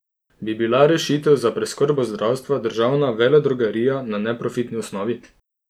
Bi bila rešitev za preskrbo zdravstva državna veledrogerija na neprofitni osnovi?